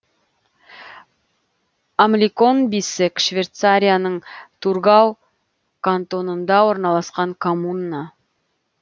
амликон биссег швейцарияның тургау кантонында орналасқан коммуна